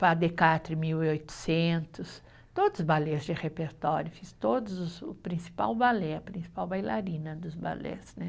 mil e oitocentos, todos os balés de repertório, fiz todos os, o principal balé, a principal bailarina dos balés, né?